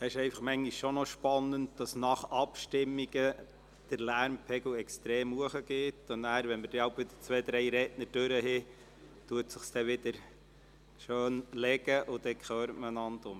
Es ist einfach manchmal schon noch spannend, dass der Lärmpegel nach Abstimmungen extrem steigt, und nachher, wenn wieder zwei, drei Redner gesprochen haben, legt er sich dann wieder schön, und danach hört man einander wieder.